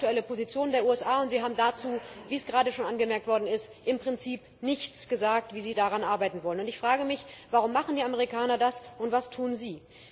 Das ist die aktuelle Position der USA, und Sie haben, wie es gerade schon angemerkt worden ist, im Prinzip nichts dazu gesagt, wie Sie daran arbeiten wollen. Ich frage mich, warum die Amerikaner machen das, und was tun Sie?